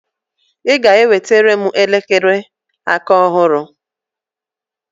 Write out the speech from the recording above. ị ga-enwetara m elekere aka ọhụrụ!